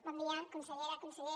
bon dia consellera conseller